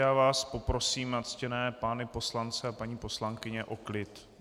Já vás poprosím, ctěné pány poslance a paní poslankyně, o klid.